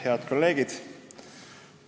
Head kolleegid!